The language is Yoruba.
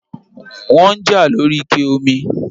wọ́n ń jà lóri ike omi